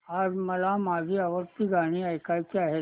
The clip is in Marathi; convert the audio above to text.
आज मला माझी आवडती गाणी ऐकायची आहेत